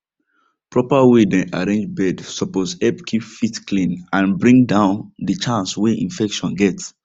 proper way dem arrange bed suppose help keep feet clean and bring down the chance way infection get